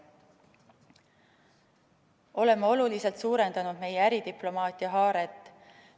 Oleme oluliselt suurendanud meie äridiplomaatia haaret.